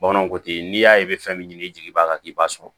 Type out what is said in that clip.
Bamananw ko ten n'i y'a ye fɛn min ɲini jigi b'a kan k'i b'a sɔrɔ